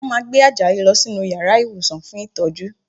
Wọ́n máa gbé Àjàyí lọ sínú yàrá ìwòsàn fún ìtọ́jú